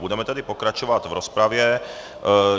Budeme tedy pokračovat v rozpravě.